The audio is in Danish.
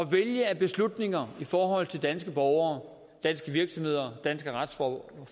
vælge af beslutninger i forhold til danske borgere danske virksomheder danske retsforhold